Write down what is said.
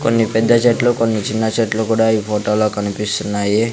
కొన్ని పెద్ద చెట్లు కొన్ని చిన్న చెట్లు కూడా ఈ ఫోటోలో కనిపిస్తున్నాయి.